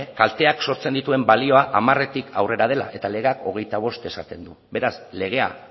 kalteak sortzen dituen balioa hamaretik aurrera dela eta legeak hogeita bost esaten du beraz legea